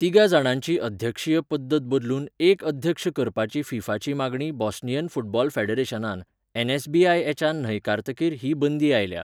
तिगा जाणांची अध्यक्षीय पद्दत बदलून एक अध्यक्ष करपाची 'फिफा'ची मागणी बोस्नियन फुटबॉल फॅडरेशनान एन.एस.बी.आय.एच न न्हयकारतकीर ही बंदी आयल्या.